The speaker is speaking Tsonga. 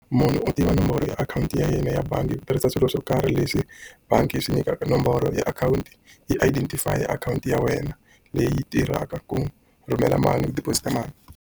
Munhu u tiva nomboro ya akhawunti ya yena ya bangi hi ku tirhisa swilo swo karhi leswi bangi yi swi nyikaka nomboro ya akhawunti. Yi identify-ya akhawunti ya wena leyi tirhaka ku rhumela mali ku deposit-a mali.